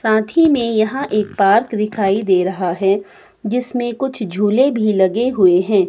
साथी में यहां एक पार्क दिखाई दे रहा है जिसमें कुछ झूले भी लगे हुए हैं।